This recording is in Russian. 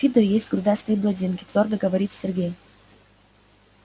в фидо есть грудастые блондинки твёрдо говорит сергей